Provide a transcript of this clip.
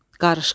Qarışqa.